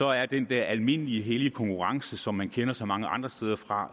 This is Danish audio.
er den der almindelige hellige konkurrence som man kender så mange andre steder fra